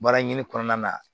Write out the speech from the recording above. Baara ɲini kɔnɔna na